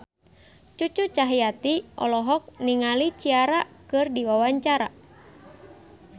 Cucu Cahyati olohok ningali Ciara keur diwawancara